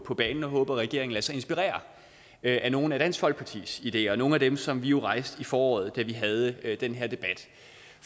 på banen og håber at regeringen lader sig inspirere af nogle af dansk folkepartis ideer nogle af dem som vi jo rejste i foråret da vi havde den der debat